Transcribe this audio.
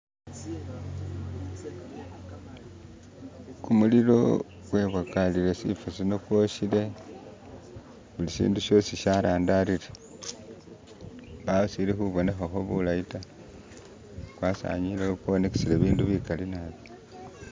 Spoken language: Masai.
kumulilo kwebwakalile shifoshino kwoshele buli shindu shosi sharandalile mbaho shilihubonehaho bulayita kwasanyilewo kwonakisilewo ibindu bikali naabi